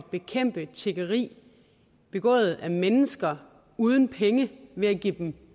at bekæmpe tiggeri begået af mennesker uden penge ved at give dem